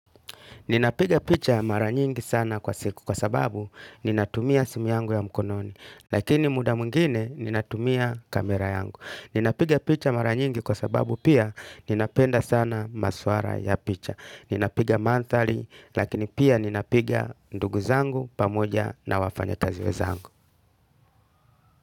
Ninapiga picha mara nyingi sana kwa siku kwa sababu ninatumia simu yangu ya mkononi. Lakini muda mwingine ninatumia kamera yangu. Ninapiga picha mara nyingi kwa sababu pia ninapenda sana maswala ya picha. Ninapiga manthaei lakini pia ninapiga ndugu zangu pamoja na wafanyakazi wenzangu.